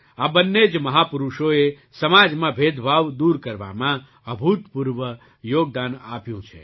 આ બંને જ મહાપુરુષોએ સમાજમાં ભેદભાવ દૂર કરવામાં અભૂતપૂર્વ યોગદાન આપ્યું છે